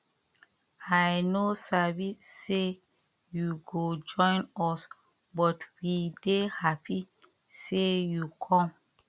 i no sabi say you go join us but we dey happy say you come